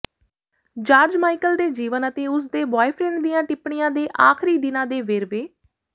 George Michael ਦੇ ਜੀਵਨ ਅਤੇ ਉਸਦੇ ਬੁਆਏਫ੍ਰੈਂਡ ਦੀਆਂ ਟਿੱਪਣੀਆਂ ਦੇ ਆਖ਼ਰੀ ਦਿਨਾਂ ਦੇ ਵੇਰਵੇ